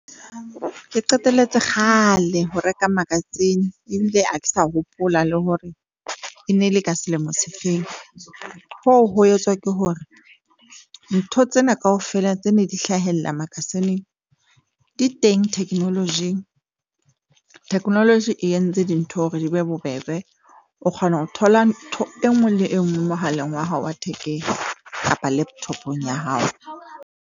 Ke qeteletse kgale ho reka magazine ebile ha ke sa hopola le hore e ne le ka selemo se feng. Hoo ho etswa ke hore ntho tsena kaofela tse neng di hlahella magazine-ng di teng technology-ing technology e entse dintho hore di be bobebe. O kgona ho thola ntho e nngwe le e nngwe mohaleng wa hao wa thekeng kapa laptop-ong ya hao.